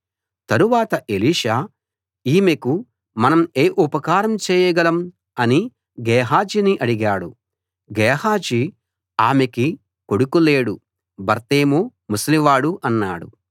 తరువాత ఎలీషా ఈమెకు మనం ఏ ఉపకారం చేయగలం అని గేహజీని అడిగాడు గేహజీ ఆమెకి కొడుకు లేడు భర్తేమో ముసలివాడు అన్నాడు